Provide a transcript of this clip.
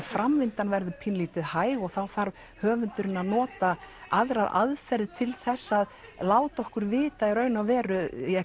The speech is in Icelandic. framvindan verður pínulítið hæg og þá þarf höfundurinn að nota aðrar aðferðir til þess að láta okkur vita í raun og veru